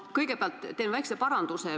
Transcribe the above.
Ma kõigepealt teen väikse paranduse.